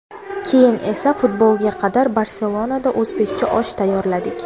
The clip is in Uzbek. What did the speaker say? Keyin esa futbolga qadar Barselonada o‘zbekcha osh tayyorladik.